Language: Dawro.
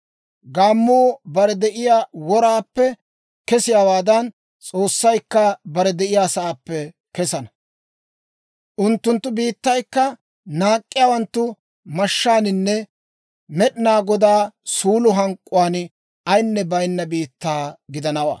Gaammuu bare de'iyaa woraappe kesiyaawaadan, S'oossaykka bare de'iyaasaappe kesana. Unttunttu biittaykka naak'k'iyaawanttu mashshaaninne Med'inaa Godaa suulo hank'k'uwaan ayinne baynawaa biittaa gidanawaa.